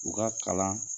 U ka kalan